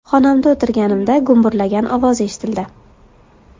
Xonamda o‘tirganimda gumburlagan ovoz eshitildi.